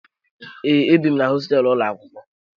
Ee, ebi m na hosteelu ụlọ akwụkwọ